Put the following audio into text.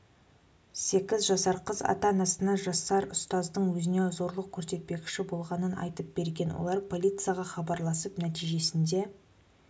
сегіз жасар қыз ата-анасына жасар ұстаздың өзіне зорлық көрсетпекші болғанын айтып берген олар полицияға хабарласып нәтижесінде